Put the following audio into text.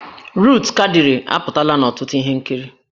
Rut Kadịrị apụtala n'ọtụtụ ihe nkiri